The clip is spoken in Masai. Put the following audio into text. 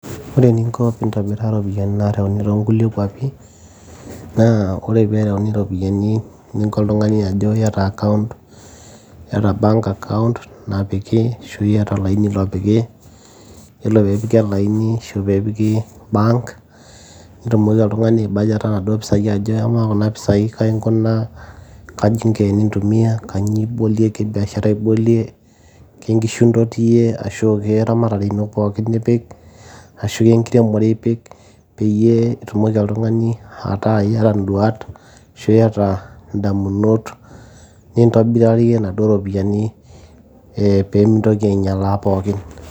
ore eninko pintobiraa iropiyiani nareuni tonkulie kuapi naa ore pereuni iropiyiani ninko oltung'ani ajo iyata account iata bank account napiki ashu iyata olaini lopiki yiolo peepiki olaini ashu peepiki bank nitumoki oltung'ani ae bajeta naduo pisai ajo amaa kuna pisai kai inkunaa kaji inko enintumia kanyio ibolie ke biashara ibolie kenkishu intotiyie ashu keramatare ino pookin ipik ashu kenkiremore ipik peyie itumoki oltung'ani ataa iyata induat ashu iyata indamunot nintobirarie naduo ropiyiani eh, pemintoki ainyialaa pookin.